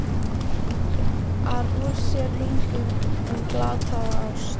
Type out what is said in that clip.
ar úr sér lungun um glataða ást.